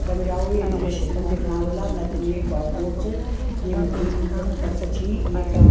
दग्ड़ियाओं ये दृश्य तुम दिखणा ह्वल्ला नदी म एक भोत बोट च येमा तीन बच्चा छी एक --